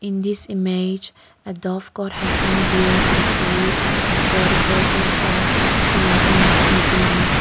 this image a dovecote has been build with woods for the purpose of fencing pigeons.